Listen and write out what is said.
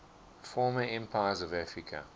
former empires of africa